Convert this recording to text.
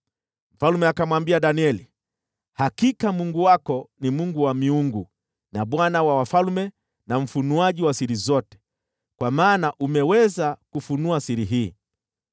Mfalme akamwambia Danieli, “Hakika Mungu wako ni Mungu wa miungu, na Bwana wa wafalme, na mfunuaji wa siri zote, kwa maana umeweza kufunua siri hii.”